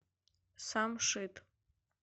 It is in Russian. самшит